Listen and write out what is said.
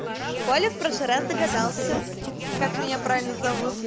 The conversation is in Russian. коля в прошлый раз догадался как меня правильно зовут